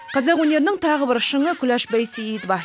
қазақ өнерінің тағы бір шыңы күләш байсейітова